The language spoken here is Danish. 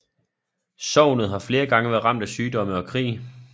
Sognet har flere gange været ramt af sygdomme og krig